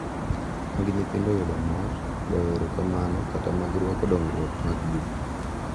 Mag nyithindo yudo mor, goyo erokamano kata mag rwako dongruog maggi.